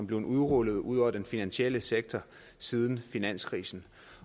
blevet rullet ud over den finansielle sektor siden finanskrisen